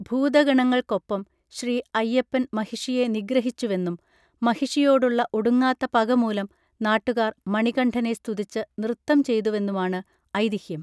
ഭൂതഗണങ്ങൾക്കൊപ്പം ശ്രീ അയ്യപ്പൻ മഹിഷിയെ നിഗ്രഹിച്ചുവെന്നും മഹിഷിയോടുള്ള ഒടുങ്ങാത്ത പക മൂലം നാട്ടുകാർ മണികണ്ഠനെ സ്തുതിച്ചു നൃത്തം ചെയ്തുവെന്നുമാണ് ഐതീഹ്യം